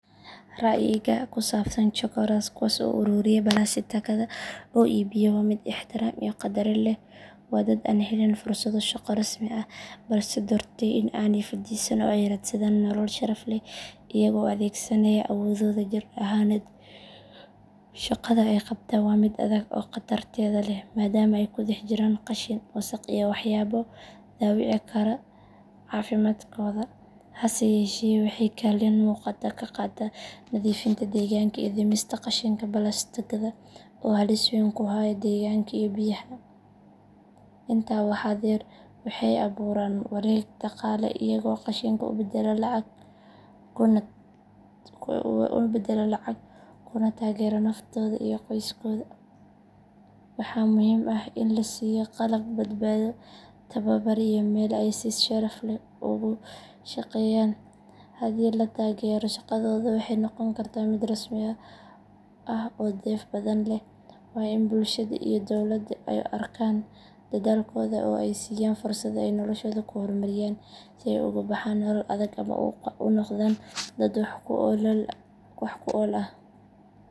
Ra’yigayga ku saabsan chokoras kuwaas oo ururiya balaastikada oo iibiya waa mid ixtiraam iyo qadarin leh. Waa dad aan helin fursado shaqo rasmi ah balse doortay in aanay fadhiisan oo ay raadsadaan nolol sharaf leh iyaga oo adeegsanaya awoodooda jir ahaaneed. Shaqada ay qabtaan waa mid adag oo qatarteeda leh maadaama ay ku dhex jiraan qashin, wasakh iyo waxyaabo dhaawici kara caafimaadkooda. Hase yeeshee waxay kaalin muuqata ka qaataan nadiifinta deegaanka iyo dhimista qashinka balaastikada oo halis weyn ku haya deegaanka iyo biyaha. Intaa waxaa dheer, waxay abuuraan wareeg dhaqaale iyaga oo qashinka u beddela lacag kuna taageera naftooda iyo qoyskooda. Waxaa muhiim ah in la siiyo qalab badbaado, tababar iyo meel ay si sharaf leh ugu shaqeeyaan. Haddii la taageero, shaqadooda waxay noqon kartaa mid rasmi ah oo dheef badan leh. Waa in bulshada iyo dowladdu ay arkaan dadaalkooda oo ay siiyaan fursad ay noloshooda ku horumariyaan si ay uga baxaan nolol adag una noqdaan dad wax ku ool ah.